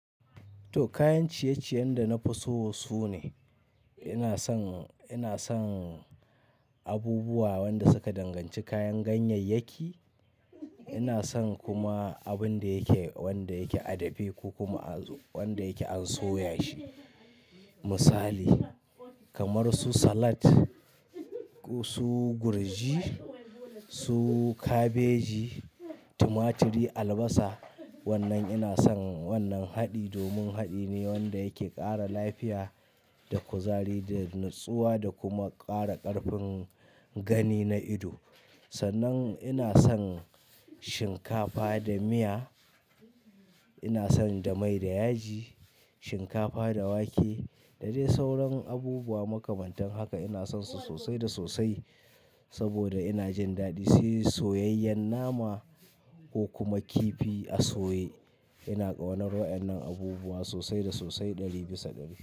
To kayan ciyeciyen da na fi so sune, ina san, ina san abubuwa wanda suka danganci kayan ganyayyaki. Ina son kuma abun da yake, wanda yake a dafe ko kuma az-- wanda yake an soya shi. Misali kamar su salat, ko su gurji, su kabeji, tumaturi, albasa. Wannan ina son wannan haɗi domin haɗi ne wanda yake ƙara lafiya da kuzari da nutsuwa da kuma ƙara ƙarfin gani na ido. Sannan ina son shinkafa da miya, ina son da mai da yaji, shinkafa da wake da dai sauran abubuwa makamantan haka ina son su sosai da sosai saboda ina jin daɗi. Sai soyayyen nama ko kuma kifi a soye. Ina ƙaunar wa'yannan abubuwa sosai da sosai ɗari bisa ɗari.